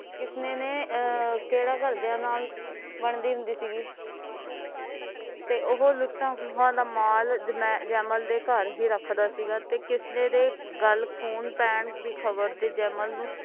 ਕਿਸਨੇ ਨੇ ਅਹ ਕੇਡਾ ਘਰਦਿਆਂ ਨਾਲ ਬਣਦੀ ਹੁੰਦੀ ਸੀਗੀ ਤੇ ਉਹ ਲੁਟਿਆ ਹੋਇਆ ਮਾਲ ਜਮੇਲ ਜੈਮਲ ਦੇ ਘਰ ਹੀ ਰੱਖਦਾ ਸੀਗਾ ਤੇ ਕਿਸਨੇ ਦੇ ਗੱਲ ਖੂਨ ਪੈਣ ਦੀ ਖ਼ਬਰ ਨੇ ਜੈਮਲ ਨੂੰ